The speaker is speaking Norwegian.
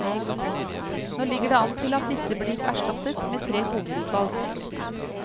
Nå ligger det an til at disse blir erstattet med tre hovedutvalg.